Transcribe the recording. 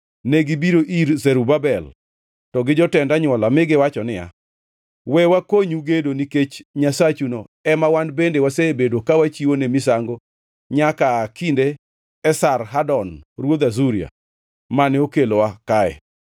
negibiro ir Zerubabel to gi jotend anywola mi giwacho niya, “We wakonyu gedo nikech Nyasachuno ema wan bende wasebedo ka wachiwone misango nyaka aa kinde Esarhadon ruodh Asuria, mane okelowa kae.”